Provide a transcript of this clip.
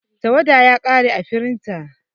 Tawada ya kare ã firinta.